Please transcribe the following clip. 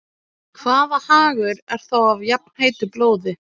Hvaða hagur er þá af jafnheitu blóði?